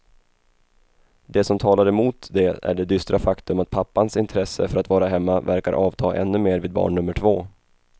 Det som talar emot det är det dystra faktum att pappans intresse för att vara hemma verkar avta ännu mer vid barn nummer två.